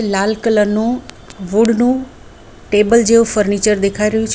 લાલ colour નું wood નું table જેવું ફર્નિચર દેખાઈ રહ્યું છે.